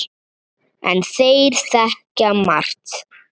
En þeir þekkja margt.